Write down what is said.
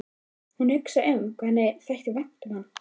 Hún hugsaði um hvað henni þætti vænt um hann.